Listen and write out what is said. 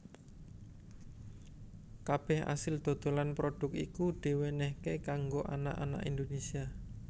Kabeh asil dodolan prodhuk iku diwenenhaké kanggo anak anak Indonésia